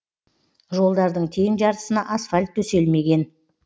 жолдардың тең жартысына асфальт төселмеген